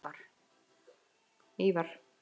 Ívar